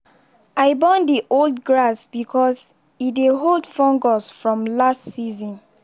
i burn the old grass because e dey hold fungus from last season.